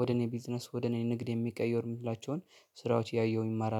ወደ እኔ ቢዝነስ ወደ እኔ ንግድ የሚቀየርላቸውን ስራዎች እያየሁ እማራለሁ